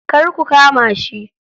Kar ku kama shi.